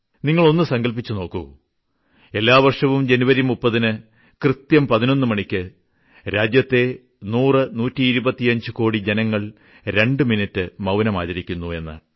നിങ്ങൾ ഒന്നു സങ്കല്പിച്ചു നോക്കൂ എല്ലാവർഷവും ജനുവരി 30ന് കൃത്യം 11 മണിയ്ക്ക് രാജ്യത്തെ നൂറ്നൂറ്റിഇരുപത്തഞ്ച് കോടി ജനങ്ങൾ രണ്ട് മിനിട്ട് മൌനം ആചരിക്കുന്നു എന്ന്